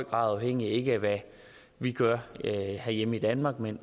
grad afhængige af ikke hvad vi gør herhjemme i danmark men